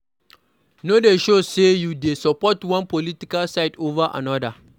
No dey show sey you dey support one political side over anoda